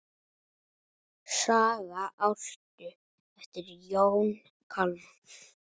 Saga Ástu eftir Jón Kalman.